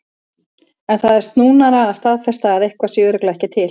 En það er snúnara að staðfesta að eitthvað sé örugglega ekki til.